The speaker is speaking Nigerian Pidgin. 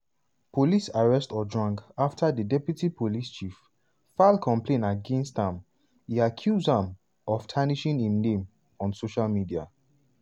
police arrest ojwang afta di deputy police chief file complain against am e accuse am of tarnishing im name on social media.